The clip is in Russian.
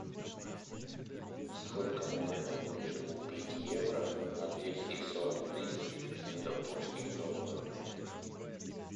сколько можно будет купить евро на двести сорок тысяч сингапурских долларов